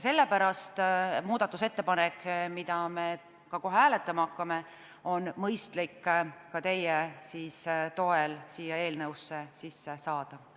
Sellepärast on muudatusettepanek, mida me kohe ka hääletama hakkame, mõistlik teie toel siia eelnõusse sisse saada.